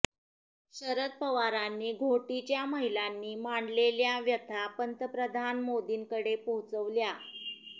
शरद पवारांनी घोटीच्या महिलांनी मांडलेल्या व्यथा पंतप्रधान मोदींकडे पोहोचविल्या